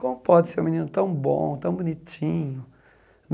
Como pode ser um menino tão bom, tão bonitinho?